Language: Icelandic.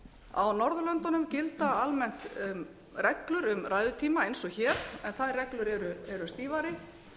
á norðurlöndunum gilda almennt reglur um ræðutíma eins og hér en þær reglur eru stífari